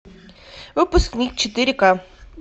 выпускник четыре ка